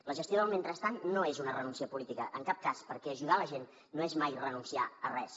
la gestió del mentrestant no és una renúncia política en cap cas perquè ajudar la gent no és mai renunciar a res